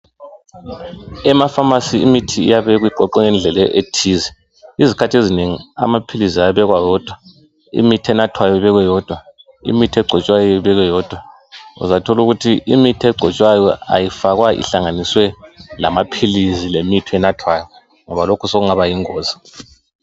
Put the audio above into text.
Ema pharmacy imithi iyabekwa iqoqwe ngendlela ethize. Izikhathi ezinengi amaphilisi ayabekwa wodwa, imithi enathwayo ibekwe yodwa, imithi egcotshwayo ibekwe yodwa. Uzathola ukuthi imithi egcotshwayo ayifakwa ihlanganiswe lamaphilisi lemithi enathwayo ngoba lokhu sokungaba yingozi.